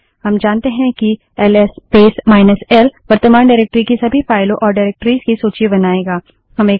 हम जानते हैं कि L S space minus L L S space minus L वर्तमान डाइरेक्टरी की सभी फाइलों और डाइरेक्टरिस निर्देशिकाओं की सूची बनाएगा